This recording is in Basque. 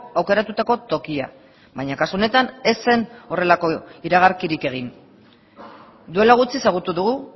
aukeratutako tokia baina kasu honetan ez zen horrelako iragarkirik egin duela gutxi ezagutu dugu